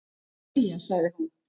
"""Jæja, sagði hún."""